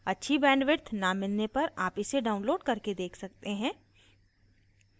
अच्छी bandwidth न मिलने पर आप इसे download करके देख सकते हैं